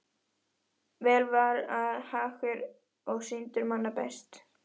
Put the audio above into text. Vel var hann hagur og syndur manna best.